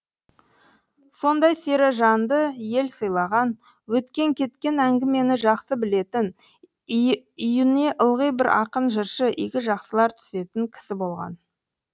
сондай сері жанды ел сыйлаған өткен кеткен әңгімені жақсы білетін үйіне ылғи бір ақын жыршы игі жақсылар түсетін кісі болған